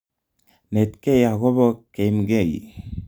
Netkei akobo keimgei